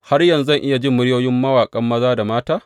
Har yanzu zan iya jin muryoyin mawaƙan maza da mata?